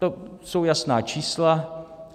To jsou jasná čísla.